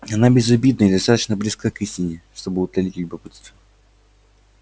она безобидна и достаточно близка к истине чтобы утолить любопытство